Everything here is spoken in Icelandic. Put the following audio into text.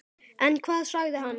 En hvað sagði hann?